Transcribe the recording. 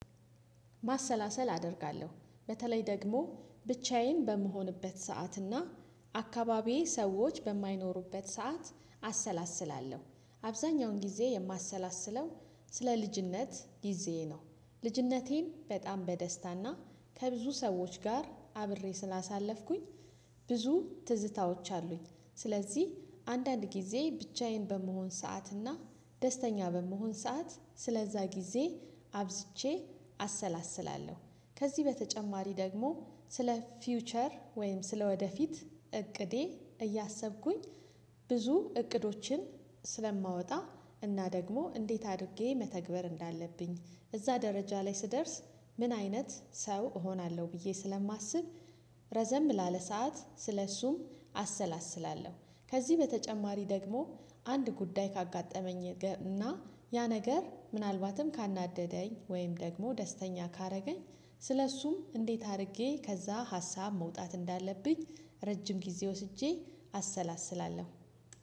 ማሰላሰል አደርጋለሁ በተለይ ደግሞ ብቻዬን በምሆንበት ሰዓትና አካባቢዬ ሰዎች በማይኖሩበት ሰዓት አሰላስላለሁ አብዛኛውን ጊዜ የማሰላስለው ስለ ልጅነት ጊዜዬ ነው። ልጅነቴን በጣም በደስታና ከብዙ ሰዎች ጋር አብሬ ስላሳለፍኩኝ። ብዙ ትዝታዎች አሉኝ ስለዚህ አንዳንድ ጊዜ ብቻዬን በመሆን ሰዓት እና ደስተኛ በመሆን ሰዓት ስለዛ ጊዜ አብዝቼ አሰላስላለሁ። ከዚህ በተጨማሪ ደግሞ ስለ ፊውቸር ወይም ስለ ወደፊት እቅዴ እያሰብኩኝ ብዙ እቅዶችን ስለማወጣ እና ደግሞ እንዴት አድርጌ መተግበር እንዳለብኝ እዛ ደረጃ ላይ ስደርስ ምን አይነት ሰው እሆናለው ብዬ ስለማስብ። ረዘም ላለ ሰዓት ስለእሱም አሰላስላለሁ። ከዚህ በተጨማሪ ደግሞ አንድ ጉዳይ ካጋጠመኝ እና ያ ነገር ምናልባትም ካናደደኝ ወይም ደግሞ ደስተኛ ካደረገኝ ስለእሱም እንዴት አድርጌ ከዛ ሀሳብ መውጣት እንዳለብኝ ረጅም ጊዜ ወስጄ አሰላስላለሁ።